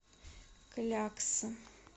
клякса